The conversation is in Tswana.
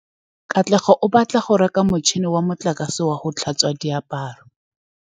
Katlego o batla go reka motšhine wa motlakase wa go tlhatswa diaparo.